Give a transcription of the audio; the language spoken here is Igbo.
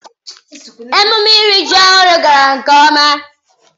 emume iri ji ohuru gara nke oma.